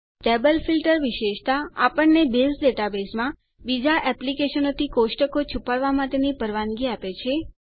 table filter વિશેષતા આપણને base ડેટાબેઝમાં બીજા એપ્લીકેશનોથી કોષ્ટકો છુપાડવા માટેની પરવાનગી આપે છે